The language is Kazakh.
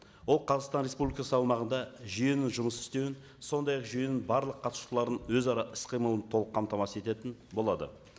ол қазақстан республикасы аумағында жүйенің жұмыс істеуін сондай ақ жүйенің барлық қатысушыларын өзара іс қимылын толық қамтамасыз ететін болады